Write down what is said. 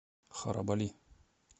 харабали